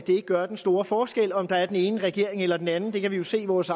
det ikke gør den store forskel om der er den ene regering eller den anden vi kan jo se hos